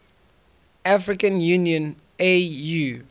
african union au